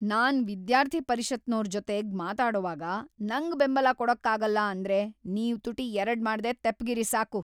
ನಾನ್ ವಿದ್ಯಾರ್ಥಿ ಪರಿಷತ್‌ನೋರ್‌ ಜೊತೆಗ್‌ ಮಾತಾಡೋವಾಗ ನಂಗ್‌ ಬೆಂಬಲ ಕೊಡಕ್ಕಾಗಲ್ಲ ಅಂದ್ರೆ ನೀವ್‌ ತುಟಿ ಎರಡ್‌ ಮಾಡ್ದೇ ತೆಪ್ಪ್‌ಗಿರಿ ಸಾಕು.